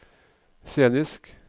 scenisk